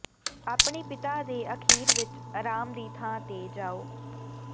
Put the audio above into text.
ਆਪਣੇ ਪਿਤਾ ਦੇ ਅਖ਼ੀਰ ਵਿਚ ਆਰਾਮ ਦੀ ਥਾਂ ਤੇ ਜਾਓ